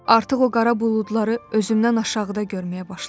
Artıq o qara buludları özümdən aşağıda görməyə başlayıram.